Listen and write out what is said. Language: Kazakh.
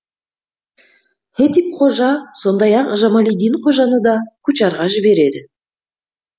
хетип қожа сондай ақ жамалиддин қожаны да кучарға жібереді